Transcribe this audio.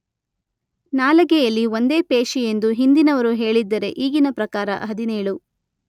ನಾಲಗೆಯಲ್ಲಿ ಒಂದೇ ಪೇಶಿಯೆಂದು ಹಿಂದಿನವರು ಹೇಳಿದ್ದರೆ ಈಗಿನ ಪ್ರಕಾರ ಹದಿನೇಳು.